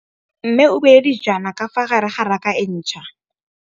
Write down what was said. Mmê o beile dijana ka fa gare ga raka e ntšha.